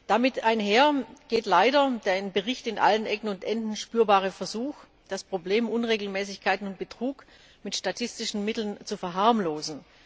Damit einher geht leider der im Bericht an allen Ecken und Enden spürbare Versuch, das Problem Unregelmäßigkeiten und Betrug mit statistischen Mitteln zu verharmlosen.